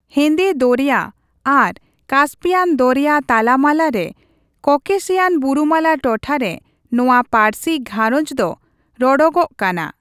ᱦᱮᱱᱫᱮ ᱫᱚᱨᱭᱟ ᱟᱨ ᱠᱟᱥᱯᱤᱭᱟᱱ ᱫᱚᱨᱭᱟ ᱛᱟᱞᱟᱢᱟᱞᱟ ᱨᱮ ᱠᱚᱠᱮᱥᱤᱭᱟᱱ ᱵᱩᱨᱩᱢᱟᱞᱟ ᱴᱚᱴᱷᱟ ᱨᱮ ᱱᱚᱣᱟ ᱯᱟ.ᱨᱥᱤ ᱜᱷᱟᱨᱚᱧᱡᱽ ᱫᱚ ᱨᱚᱲᱚᱜᱚᱜ ᱠᱟᱱᱟ ᱾